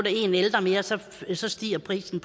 er en ældre mere så så stiger prisen